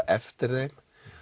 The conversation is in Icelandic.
eftir þeim